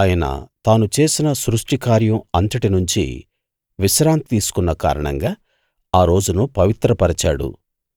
ఆయన తాను చేసిన సృష్టి కార్యం అంతటినుంచీ విశ్రాంతి తీసుకున్న కారణంగా ఆ రోజును పవిత్రపరిచాడు